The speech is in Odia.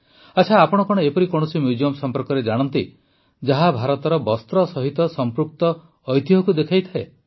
ଆଚ୍ଛା ଆପଣ କଣ ଏପରି କୌଣସି ମ୍ୟୁଜିୟମ୍ ସମ୍ପର୍କରେ ଜାଣନ୍ତି ଯାହା ଭାରତର ବସ୍ତ୍ର ସହିତ ସଂପୃକ୍ତ ଐତିହ୍ୟକୁ ଦେଖାଇଥାଏ